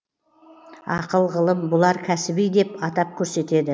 ақыл ғылым бұлар кәсіби деп атап көрсетеді